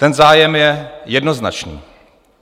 Ten zájem je jednoznačný.